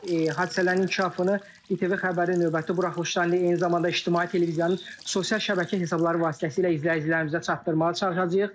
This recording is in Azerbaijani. Biz hadisələrin inkişafını İTV Xəbərin növbəti buraxılışlarından, eyni zamanda İctimai Televiziyanın sosial şəbəkə hesabları vasitəsilə izləyicilərimizə çatdırmağa çalışacağıq.